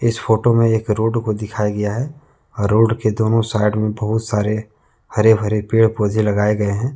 इस फोटो में एक रोड को दिखाया गया है रोड के दोनों साइड में बहुत सारे हरे भरे पेड़ पौधे लगाए गए हैं।